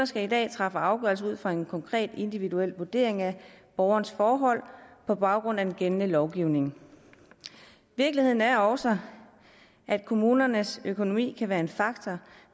skal i dag træffe afgørelse ud fra en konkret individuel vurdering af borgerens forhold på baggrund af den gældende lovgivning virkeligheden er også at kommunernes økonomi kan være en faktor